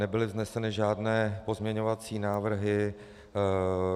Nebyly vzneseny žádné pozměňovací návrhy.